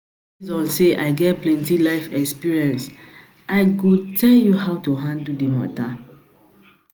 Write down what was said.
say I get plenty life experiences, I go tell you how to handle the matter